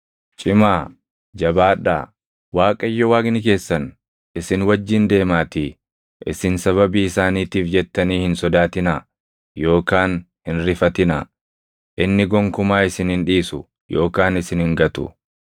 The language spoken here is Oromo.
Cimaa; jabaadhaa. Waaqayyo Waaqni keessan isin wajjin deemaatii isin sababii isaaniitiif jettanii hin sodaatinaa yookaan hin rifatinaa; inni gonkumaa isin hin dhiisu yookaan isin hin gatu.”